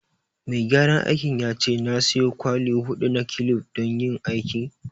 Mai gyaran aikin ya ce na siyo kwali huɗu na kilif don yin aikin